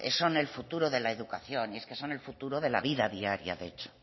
son el futuro de la educación y es que son el futuro de la vida diaria de hecho